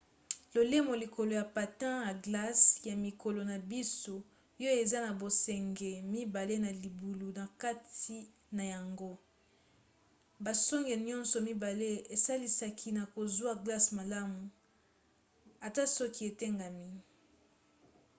lolemo likolo ya patin ya glace ya mikolo na biso yo eza na basonge mibale na libulu na kati na yango. basonge nyonso mibale esalisaka na kozwa glace malamu ata soki etengami